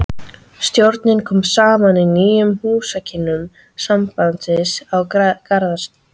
Stjórnin kom saman í nýjum húsakynnum sambandsins að Garðastræti